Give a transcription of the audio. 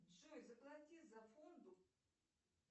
джой заплати за воду